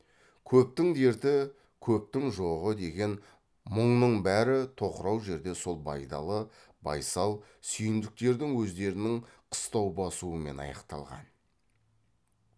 көптің дерті көптің жоғы деген мұңның бәрі тоқырау жерде сол байдалы байсал сүйіндіктердің өздерінің қыстау басуымен аяқталған